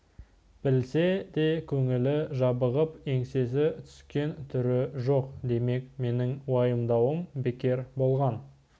білсе де көңілі жабығып еңсесі түскен түрі жоқ демек менің уайымдауым бекер болған